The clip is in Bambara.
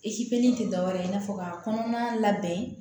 tɛ dɔwɛrɛ ye i n'a fɔ ka kɔnɔna labɛn